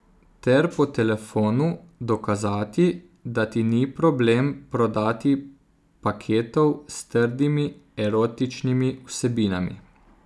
Ter po telefonu dokazati, da ti ni problem prodati paketov s trdimi erotičnimi vsebinami.